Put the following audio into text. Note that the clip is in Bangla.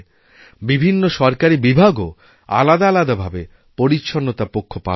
বিভিন্ন সরকারি বিভাগ ও আলাদা আলাদা ভাবে পরিচ্ছন্নতা পক্ষ পালন করে